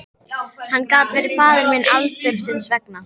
Hann gat verið faðir minn aldursins vegna.